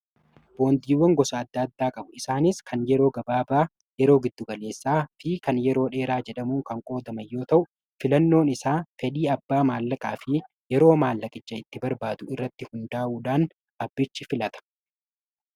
boondiiwwan gosa adda addaa qabu isaanis kan yeroo gabaabaa yeroo giddu galeessaa fi kan yeroo dheeraa jedhamuu kan qoodaman yoo ta'u filannoon isaa fedhii abbaa maallaqaa fi yeroo maallaqicha itti barbaadu irratti hundaa'uudaan abbichi filata.